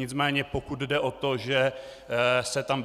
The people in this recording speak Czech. Nicméně pokud jde o to, že se tam